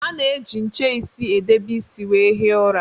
A na -eji nche isi edebe isi wee hie ụra